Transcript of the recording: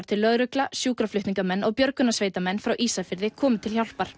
til lögregla sjúkraflutningamenn og björtunarsveitamenn frá Ísafirði komu til hjálpar